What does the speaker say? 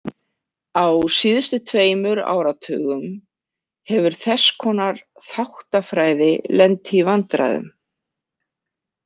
Á síðustu tveimur áratugum hefur þess konar þáttafræði lent í vandræðum.